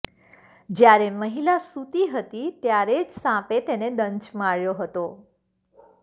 જ્યારે મહિલા સૂતી હતી ત્યારે જ સાપે તેને દંશ માર્યો હતો